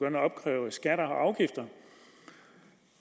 at opkræve skatter og afgifter